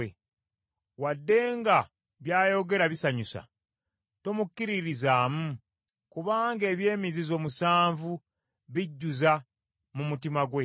Wadde nga by’ayogera bisanyusa, tomukkiririzaamu kubanga eby’emizizo musanvu bijjuza mu mutima gwe.